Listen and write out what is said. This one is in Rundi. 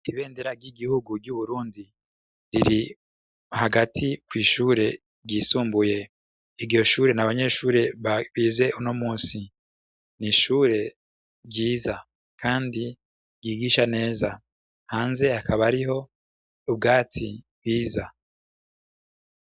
Ntibenderagy'igihugu ry'uburundi riri hagati kw'ishure ryisumbuye igiho shure na abanyeshure babize uno musi ni ishure ryiza, kandi yigisha neza hanze hakaba ariho ubwatsi bwiza.